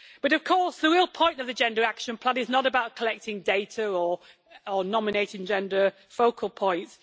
Of course, the real point of the Gender Action Plan is not about collecting data or nominating gender focal points